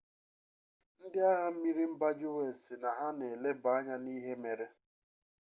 ndị agha mmiri mba us sị na ha na-eleba anya n'ihe mere